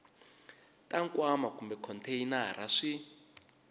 ta nkwama kumbe khonteyinara swi